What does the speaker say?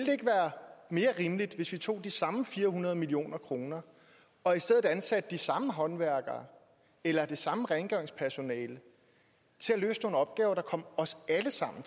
mere rimeligt hvis vi tog de samme fire hundrede million kroner og i stedet ansatte de samme håndværkere eller det samme rengøringspersonale til at løse nogle opgaver der kom os alle sammen